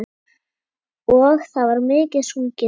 Og, það var mikið sungið.